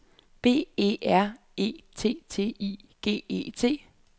B E R E T T I G E T